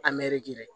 A mɛrigiki dɛ